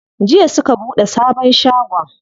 Jiya suka buɗe sabon shagon.